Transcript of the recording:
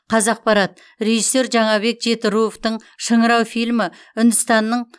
қазақпарат режиссер жаңабек жетіруовтың шыңырау фильмі үндістанның